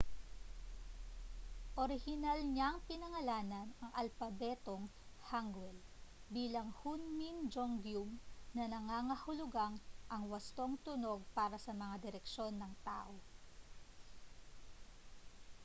orihinal niyang pinangalanan ang alpabetong hanguel bilang hunmin jeongeum na nangangahulugang ang wastong tunog para sa mga direksyon ng tao